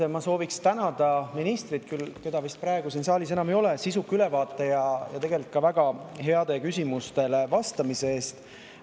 Esmalt sooviksin ma tänada ministrit, keda küll siin saalis enam ei ole, sisuka ülevaate ja ka väga heade vastuste eest.